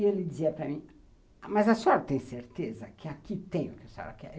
E ele dizia para mim, mas a senhora tem certeza que aqui tem o que a senhora quer?